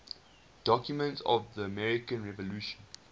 documents of the american revolution